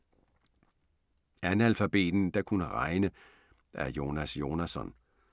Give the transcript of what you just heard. Analfabeten der kunne regne af Jonas Jonasson